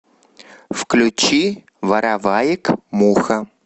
включи вороваек муха